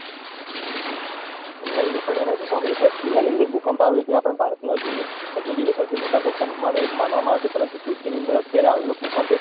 નઈ નઈ પણ એનાં વિશે સાંભળેલું કચ્છ જીલ્લાની અંદર ભૂકંપ આવ્યો હતો એ આપણા ભારતનો હજી સુધીનો સૌથી મોટા ભૂકંપ માનો એક માનવામાં આવે છે પરંતુ અત્યારે આવેલો ભૂકંપ એ